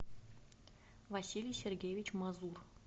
василий сергеевич мазур